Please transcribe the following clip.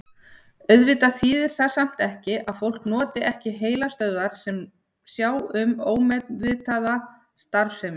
Auðvitað þýðir það samt ekki að fólk noti ekki heilastöðvar sem sjá um ómeðvitaða starfsemi.